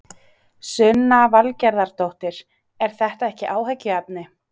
Sunna Valgerðardóttir: Er þetta ekki áhyggjuefni?